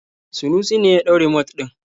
Sanusi ne ya ɗau rumot ɗin.